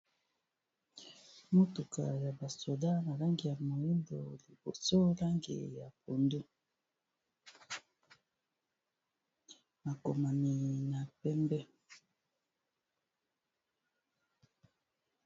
Motuka ya basoda na lange ya moyimbo liboso langi ya pundo bakomami na pembe.